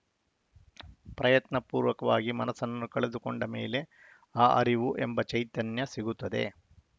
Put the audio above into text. ಪ್ರಯತ್ನಪೂರ್ವಕವಾಗಿ ಮನಸ್ಸನ್ನು ಕಳೆದುಕೊಂಡ ಮೇಲೆ ಆ ಅರಿವು ಎಂಬ ಚೈತನ್ಯ ಸಿಗುತ್ತದೆ